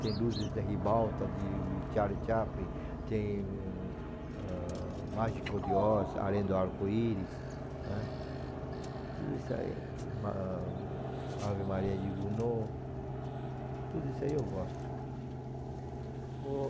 Tem Luzes da Ribalta, de Kitchari Capri, tem ãh Mágico de Oz, Além do Arco-Íris, né, tudo isso aí, ãh, Ave Maria de Gounod, tudo isso aí eu gosto. O